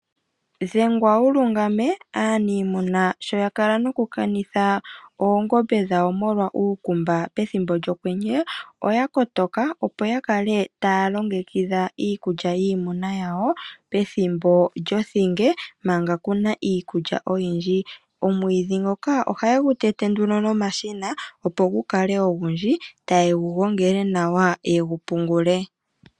Dhengwa wu lungame, aaniimuna sho ya kala noku kanitha oongombe dhawo molwa uukumba pethimbo lyokwenye oya kotoka opo ya kale taya longekidha iikulya yiimuna yawo pethimbo lyothinge manga kuna iikulya oyindji. Omwidhi ngoka ohaye gu te te nomashina opo gu kale ogundji etaye gu gongele nawa ye gu pungule.